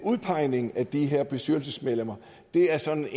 udpegningen af de her bestyrelsesmedlemmer er sådan et